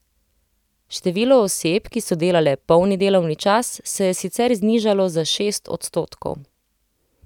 Število oseb, ki so delale polni delovni čas, se je sicer znižalo za šest odstotkov.